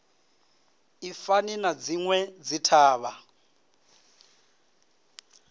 i fani na dzinwe dzithavha